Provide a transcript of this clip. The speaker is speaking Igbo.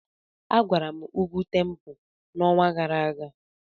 Agara m ugwu Tempo n'ọnwa gara aga.